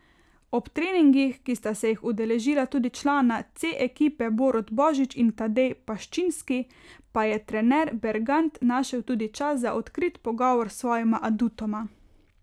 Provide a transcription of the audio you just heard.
Ob treningih, ki sta se jih udeležila tudi člana C ekipe Borut Božič in Tadej Paščinski, pa je trener Bergant našel tudi čas za odkrit pogovor s svojima adutoma.